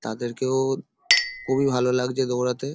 তাদেরকেও খুবই ভালো লাগছে দৌড়াতে।